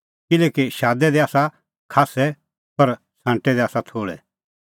किल्हैकि शादै दै ता आसा खास्सै पर छ़ांटै दै आसा थोल़ै